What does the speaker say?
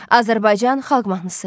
Azərbaycan xalq mahnısı.